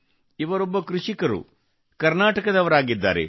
ಇವರೊಬ್ಬ ಕೃಷಿಕರು ಮತ್ತು ಕರ್ನಾಟಕದವರಾಗಿದ್ದಾರೆ